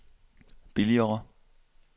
billigere